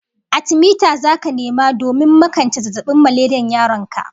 Atimita zaka nema domin makance zazzabin maleriyar yaron ka